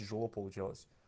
тяжело получалось